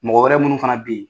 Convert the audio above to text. Mɔgɔ wɛrɛ minnu fana be yen